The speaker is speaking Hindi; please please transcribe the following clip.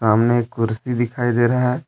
सामने एक कुर्सी दिखाई दे रहा है।